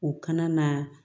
O kana na